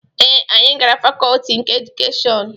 Ee, anyị gara fakọọti nke edukeshọn.